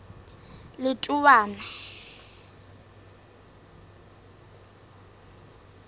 letowana